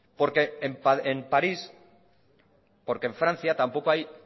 porque en parís porque en francia tampoco hay